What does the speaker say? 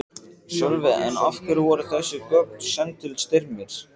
Sölvi: En af hverju voru þessi gögn send til Styrmis?